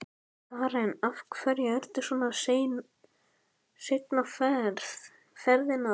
Karen: Af hverju ertu svona seinn á ferðinni?